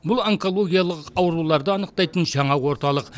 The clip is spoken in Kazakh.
бұл онкологиялық ауруларды анықтайтын жаңа орталық